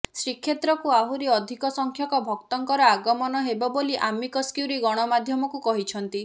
ଶ୍ରୀକ୍ଷେତ୍ରକୁ ଆହୁରି ଅଧିକ ସଂଖ୍ୟକ ଭକ୍ତଙ୍କର ଆଗମନ ହେବ ବୋଲି ଆମିକସ୍କ୍ୟୁରି ଗଣମାଧ୍ୟମକୁ କହିଛନ୍ତି